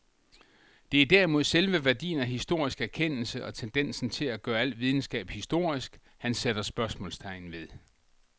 Det er derimod selve værdien af historisk erkendelse og tendensen til at gøre al videnskab historisk, han sætter spørgsmålstegn ved.